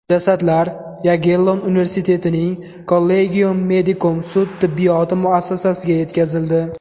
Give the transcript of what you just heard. Jasadlar Yagellon universitetining Collegium Medicum sud tibbiyoti muassasasiga yetkazildi.